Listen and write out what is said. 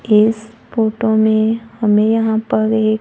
इस फोटो में हमें यहां पर ये--